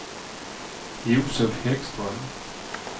Josef Häggström